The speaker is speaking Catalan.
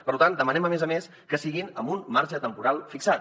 per tant demanem a més a més que siguin amb un marge temporal fixat